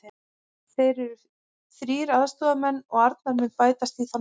Fyrir eru þrír aðstoðarmenn og Arnar mun bætast í þann hóp.